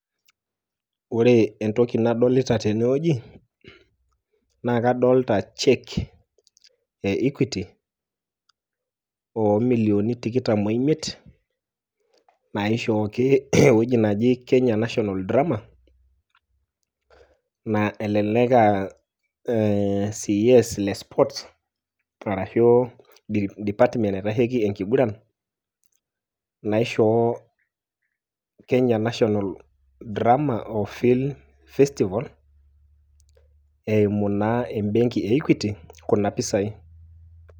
Ore entoki nadolita tenewueji, naa kadolta cheque e Equity, omilioni tikitam oimiet, naishooki ewueji naji Kenya National Drama ,na elelek ah CS le sports, arashu department naitasheki enkiguran, naishoo Kenya National Drama Festival, eimu naa ebenki e Equity, kuna pisai.